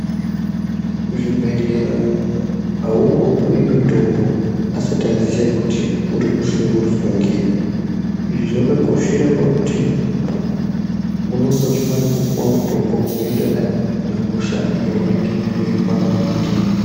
Kuzvibhedhlera aungopiwi mitombo ,asati aziye kuti uri kushungurudzwa ngeyi. Izvi zvakakoshera pakuti ,unonga uchifane kupuwe mutombo unoenderana nehosha yaunenge weirwara ndiyo.